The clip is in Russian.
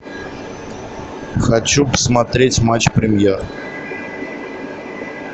хочу посмотреть матч премьер